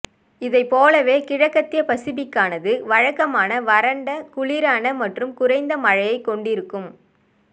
இதை போலவே கிழக்கத்திய பசிபிக்கானது வழக்கமான வறண்ட குளிரான மற்றும் குறைந்த மழையை கொண்டிருக்கும்